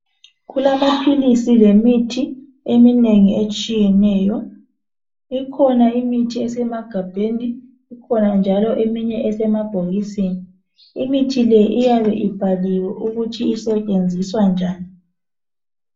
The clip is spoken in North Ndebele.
kulamaphilisi lemithi eminengi etshiyeneyo ikhona imihi esemagabheni ikhana njalo eminye esebhokisini imithi le iyabe ibhaliwe ukuthi isebenziswa njani